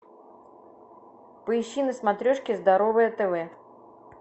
поищи на смотрешке здоровое тв